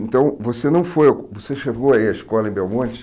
Então, você não foi, você chegou a ir à escola em Belmonte?